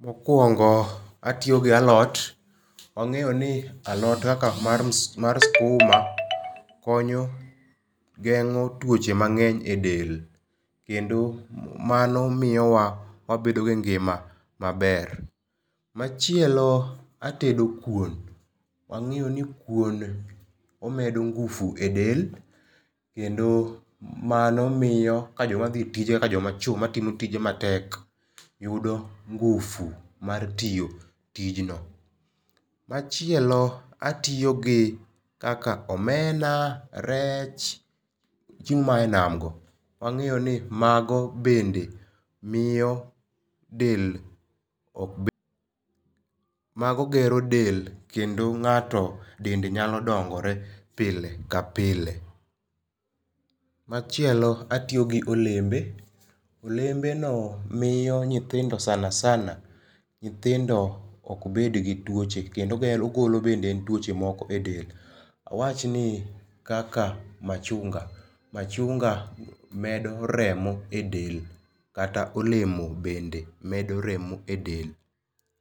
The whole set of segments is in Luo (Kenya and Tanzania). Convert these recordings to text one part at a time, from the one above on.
Mokuongo atiyo gi alot, wangeyo ni alot kaka mar skuma konyo gengo tuoche mangeny e del kendo mano miyowa wabedo gi ngima maber. Machielo atedo kuon, wangeyo ni kuon omedo ngufu e del kendo mano miyo ka joma dhi tije kaka joma chuo matimo tije matek yudo ngufu mar tiyo tijno. Machielo atiyo gi kaka omena, rech, chiemo maya e nam go, wangeyo ni mago bende miyo del ok bed, mago gero del kendo ng'ato dende nyalo dongore pile ka pile. Machielo atiyo gi olembe, olembe no miyo nyithindo sana sana nyithindo ok bed gi tuoche kendo ogolo bende tuoche moko e del, wawach ni kaka machunga, machunga medo remo e del kata olemo bende medo remo e del.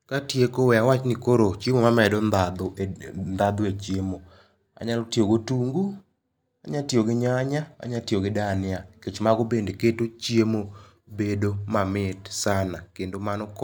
Katieko we awach ni chiemo mamedo ndhandhu e chiemo, anyalo tiyo go otungu, anya tiyo gi nyanya, anya tiyo gi dhania nikech mago bende keto chiemo bedo mamit sana kendo mano konyo